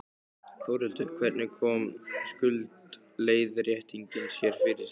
Þórhildur: Hvernig kom skuldaleiðréttingin sér fyrir þig?